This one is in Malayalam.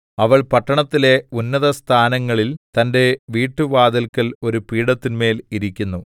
അവൾ പട്ടണത്തിലെ ഉന്നതസ്ഥാനങ്ങളിൽ തന്റെ വീട്ടുവാതില്‍ക്കൽ ഒരു പീഠത്തിന്മേൽ ഇരിക്കുന്നു